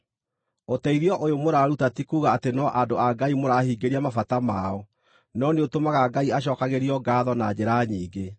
Ũteithio ũyũ mũraruta ti kuuga atĩ no andũ a Ngai mũrahingĩria mabata mao, no nĩũtũmaga Ngai acookagĩrio ngaatho na njĩra nyingĩ.